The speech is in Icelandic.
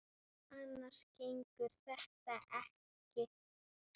Annars gengur þetta ekki.